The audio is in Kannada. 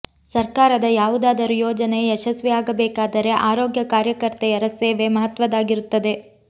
ಸರ್ಕಾರದ ಯಾವುದಾದರೂ ಯೋಜನೆ ಯಶಸ್ವಿ ಆಗಬೇಕಾದರೆ ಆರೋಗ್ಯ ಕಾರ್ಯಕರ್ತೆಯರ ಸೇವೆ ಮಹತ್ವದ್ದಾಗಿರುತ್ತದೆ